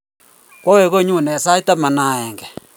Kwawe konyon sait taman ak akenge